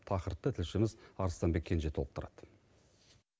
тақырыпты тілшіміз арыстанбек кенже толықтырады